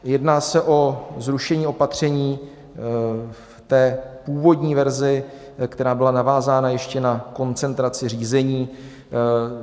Jedná se o zrušení opatření v té původní verzi, která byla navázána ještě na koncentraci řízení.